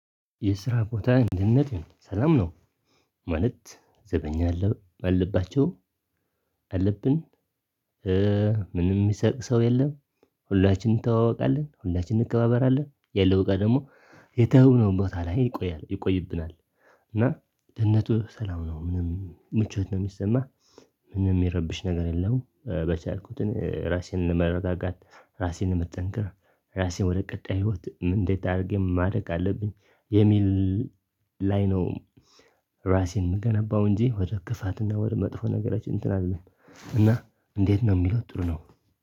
የስራ ቦታ ደህንነት ሰላም ነው። ማለት ዘበኛ አለባቸው አለብን። ምንም ሚሰርቅ ሰው የለም። ሁላችንም እንተዋወቃለን ሁላችንም እንከባበራለን ያለው እቃ ደግሞ የተውነው ቦታ ላይ ይቆያል ይቆይብናል። እና ደህንነቱ ሰላም ነው ምንም ምቾት ነው ሚሰማህ? ምንም ሚረብሽ ነገር የለውም። በቻልኩት ራሴን መረጋጋት ራሴን መጠንቀቅ። ራሴን ወደ ቀጣይ ህይወት ምን እንዴት አድርጌ ማደግ አለብኝ የሚል ላይ ነው። ራሴን ምገነባው እንጂ ወደ ክፋት እና ወደ መጥፎ ነገሮች እንትን አልልም። እንዴት ነው የሚለው ጥሩ ነው።